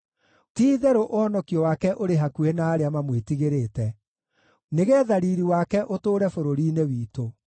Ti-itherũ ũhonokio wake ũrĩ hakuhĩ na arĩa mamwĩtigĩrĩte, nĩgeetha riiri wake ũtũũre bũrũri-inĩ witũ.